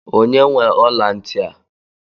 Onye nwe ọla ntị a?